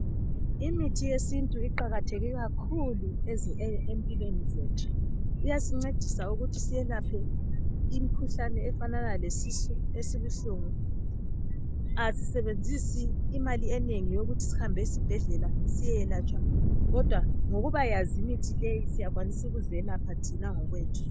Imithi yesintu iqakatheke kakhulu empilweni zethu iyasincedisa ukuthi selaphe imikhuhlane efanana lesisu esibuhlungu asisebenzisi imali enengi ukuthi sihambe esibhedlela siyeyelatshwa kodwa ngokubayazi imithi leyi siyakwanisa ukuzelapha thina ngokwethu.